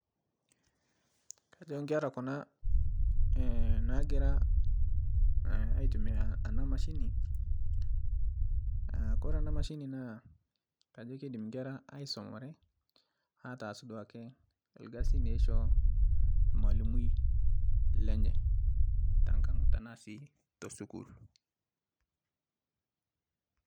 Kajo ekera kuna naagira aitumiya ena machine kure ena mashini naa keidim inkera aisumare atas duoake ilkasin oishoo olmalimui lenye tenaa sii te skuul